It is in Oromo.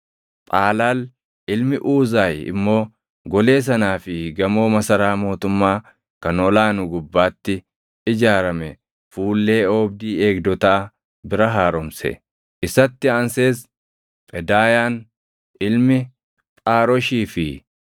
Phaalaal ilmi Uuzaay immoo golee sanaa fi gamoo masaraa mootummaa kan ol aanu gubbaatti ijaarame fuullee oobdii eegdotaa bira haaromse. Isatti aansees Phedaayaan ilmi Phaaroshii fi